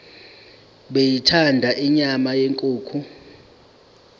beyithanda inyama yenkukhu